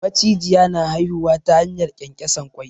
Macijiya na haihuwa ta hanyar ƙyanƙyasan ƙwai.